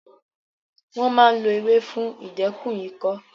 Wọ́n máa ń lo ewé fún ìdẹ́kun ikọ́